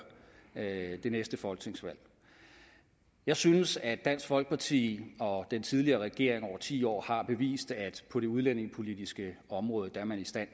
det næste folketingsvalg jeg synes at dansk folkeparti og den tidligere regering over ti år har bevist at på det udlændingepolitiske område er man i stand